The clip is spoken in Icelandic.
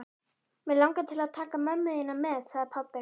Mig langar til að taka mömmu þína með sagði pabbi.